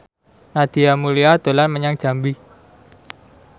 Nadia Mulya dolan menyang Jambi